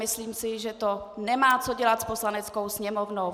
Myslím si, že to nemá co dělat s Poslaneckou sněmovnou.